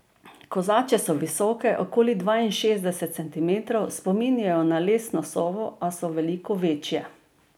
Kozače so visoke okoli dvainšestdeset centimetrov, spominjajo na lesno sovo, a so veliko večje.